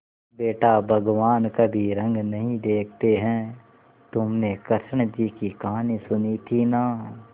बेटा भगवान कभी रंग नहीं देखते हैं तुमने कृष्ण जी की कहानी सुनी थी ना